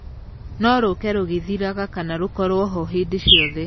No rũke rũgĩthiraga kana rũkorwo kuo hĩndĩ ciothe.